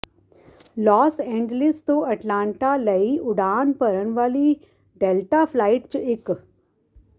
Las Angeles ਤੋਂ Atlanta ਲਈ ਉਡਾਨ ਭਰਨ ਵਾਲੀ ਡੈਲਟਾ ਫ਼ਲਾਇਟ ਚ ਇਕ